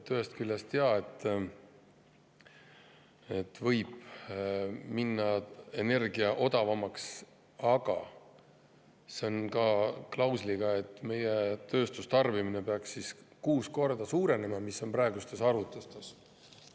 Ühest küljest, jaa, võib energia minna odavamaks, aga see on klausliga, et meie tööstustarbimine peaks siis kuus korda suurenema – nii on praegustes arvutustes.